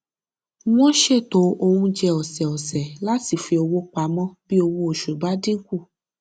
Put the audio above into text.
wọn ṣètò oúnjẹ ọsẹọsẹ láti fi owó pamọ bí owó oṣù bá dín kù